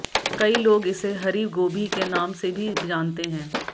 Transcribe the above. कई लोग इसे हरी गोभी के नाम से भी जानते है